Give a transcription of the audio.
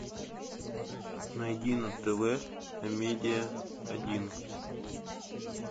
найди на тв амедиа один